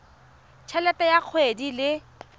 t helete ya kgwedi le